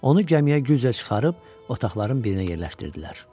Onu gəmiyə güclə çıxarıb otaqların birinə yerləşdirdilər.